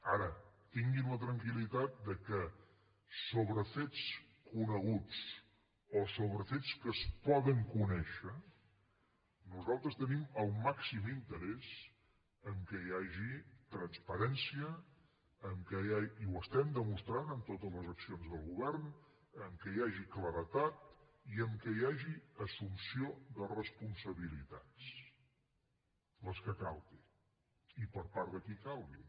ara tinguin la tranquil·litat que sobre fets coneguts o sobre fets que es poden conèixer nosaltres tenim el màxim interès que hi hagi transparència i ho estem demostrant en totes les accions del govern que hi hagi claredat i que hi hagi assumpció de responsabilitats les que calgui i per part de qui calgui